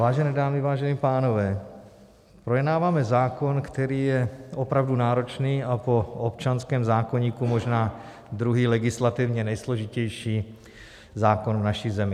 Vážené dámy, vážení pánové, projednáváme zákon, který je opravdu náročný a po občanském zákoníku možná druhý legislativně nejsložitější zákon v naší zemi.